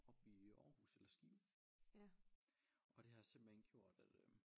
Op i Aarhus eller Skive og det har simpelthen gjort at øh